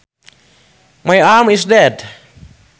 My arm is dead